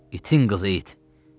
İtin qızı it!